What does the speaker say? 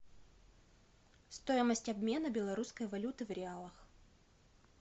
стоимость обмена белорусской валюты в реалах